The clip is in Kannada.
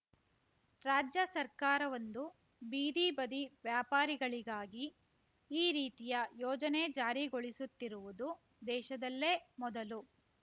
ರಾಜ್ಯ ಸರ್ಕಾರವೊಂದು ಬೀದಿ ಬದಿ ವ್ಯಾಪಾರಿಗಳಿಗಾಗಿ ಈ ರೀತಿಯ ಯೋಜನೆ ಜಾರಿಗೊಳಿಸುತ್ತಿರುವುದು ದೇಶದಲ್ಲೇ ಮೊದಲು